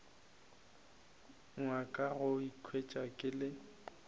nyaka go ikhwetša ke le